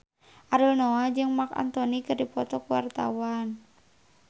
Ariel Noah jeung Marc Anthony keur dipoto ku wartawan